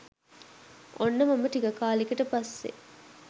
ඔන්න මම ටික කාලෙකට පස්සෙ